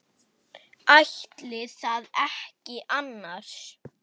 Ætli það ekki annars.